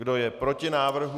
Kdo je proti návrhu?